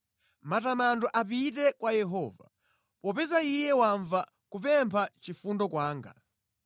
Matamando apite kwa Yehova, popeza Iye wamva kupempha chifundo kwanga.